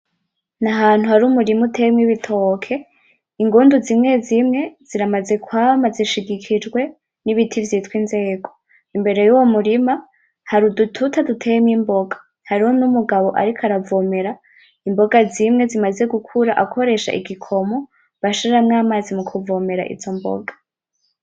Nahantu har'umurima uteyemwo ibitoke, ingundu zimwe zimwe ziramaze kwama zishigikijwe n'ibiti vyitwa inzego, imbere yuwo murima hari udututi duteyemwo imboga, hariho n'umugabo ariko aravomera imboga zimwe zimaze gukura akoresha igikomo bashiramwo amazi mu kuvomera izo mboga.